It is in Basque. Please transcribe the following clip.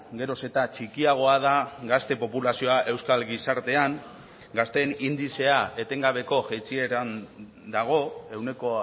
geroz eta txikiagoa da gazte populazioa euskal gizartean gazteen indizea etengabeko jaitsieran dago ehuneko